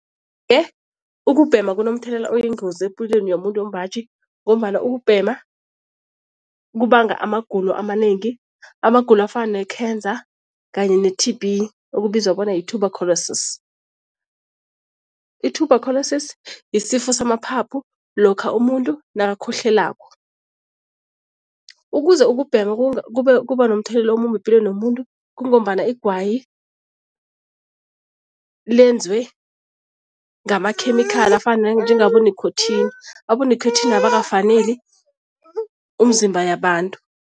Ukubhema kunomthelela oyingozi epilweni yomuntu wembaji ngombana ukubhema kubanga amagulo amanengi. Amagulo afana ne-cancer kanye ne-T_B okubizwa bona yi-tUberculosis. I-tUberculosis yisifo samaphaphu lokha umuntu nakakhohlelako. Ukuze ukubhema kube kuba nomthelela omumbi epilweni yomuntu kungombana igwayi lenzwe ngamakhemikhali afana njengabo nikhothini, abonikhothini abakafaneli umzimba yabantu.